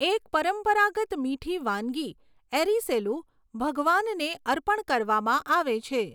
એક પરંપરાગત મીઠી વાનગી એરિસેલુ ભગવાનને અર્પણ કરવામાં આવે છે.